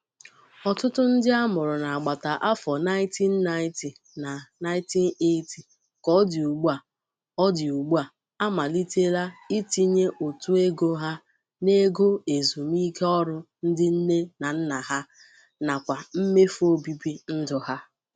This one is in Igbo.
Ọtụtụ ndị amụrụ n'agbata afọ 1990 na 1980 ka o dị ugbua o dị ugbua amalitela itinye ụtụ ego ha n'ego ezumike ọrụ ndị Nne na Nna ha nakwa mmefu obibi ndụ ha.